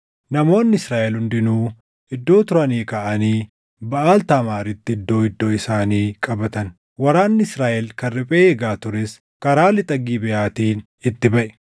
Namoonni Israaʼel hundinuu iddoo turanii kaʼanii Baʼaal Taamaaritti iddoo iddoo isaanii qabatan; waraanni Israaʼel kan riphee eegaa tures karaa lixa Gibeʼaatiin itti baʼe.